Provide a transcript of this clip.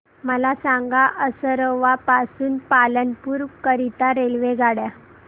मला सांगा असरवा पासून पालनपुर करीता रेल्वेगाड्या